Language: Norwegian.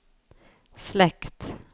slekt